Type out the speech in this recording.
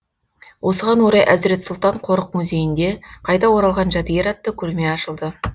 осыған орай әзірет сұлтан қорық музейінде қайта оралған жәдігер атты көрме ашылды